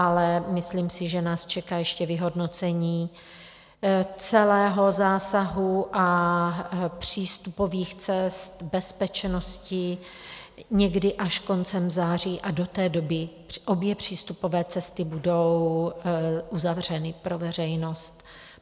Ale myslím si, že nás čeká ještě vyhodnocení celého zásahu a přístupových cest, bezpečnosti, někdy až koncem září a do té doby obě přístupové cesty budou uzavřeny pro veřejnost.